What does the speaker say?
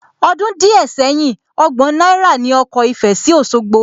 Ọdún díẹ̀ sẹ́yìn, ọgbọ̀n náírà ní ọkọ̀ ìfẹ sí Òsogbo